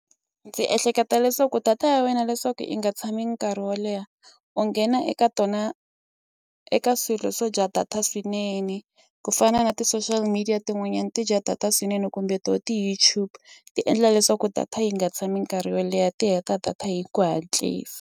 Ndzi ehleketa leswaku data ya wena leswaku i nga tshami nkarhi wo leha u nghena eka tona eka swilo swo dya data swinene ku fana na ti-social media tin'wanyani ti dya data swinene kumbe to ti-YouTube ti endla leswaku data yi nga tshami nkarhi wo leha ti heta data hi ku hatlisa.